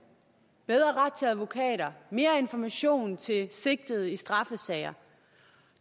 bedre ret til advokater mere information til sigtede i straffesager